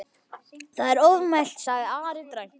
Það er ofmælt, sagði Ari dræmt.